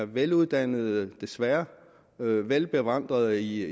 veluddannede desværre og velbevandrede i